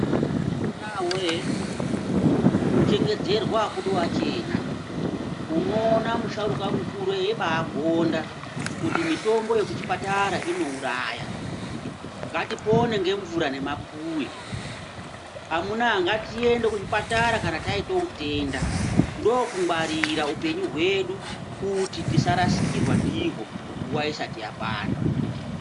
Amunawe ku chengedzerwa akudi wachena uno ona mu sharukwa mukuru eibai gonda kuti mitombo yeku chipatara ino uraya ngati pone nge mvura ne mapuwe amuna ngatiende ku zvipatara kana taite utenda ndo kungwarira upenyu hwedu kuti tisa rasikirwa ndihwo nguva isati yakwana.